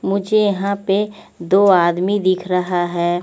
मुझे यहा पे दो आदमी दिख रहा है।